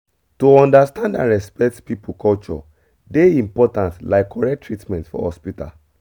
to understand and respect people culture dey important like correct treatment for hospital